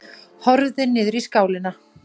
Horfði niður í skálina.